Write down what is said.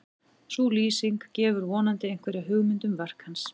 sú lýsing gefur vonandi einhverja hugmynd um verk hans